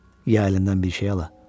Ye, əlindən bir şey ala.